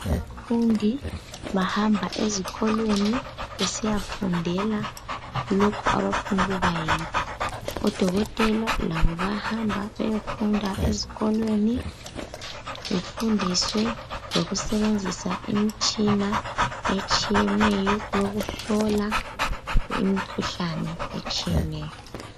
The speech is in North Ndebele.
Abafundi bahamba ezikolweni besiyafundela lokho abafunukuba yikho. Odokotela labo bayahamba beyefunda ezikolweni, befundiswe lokusebenzisa imitshina etshiyeneyo yokuhlola imikhuhlane etshiyeneyo.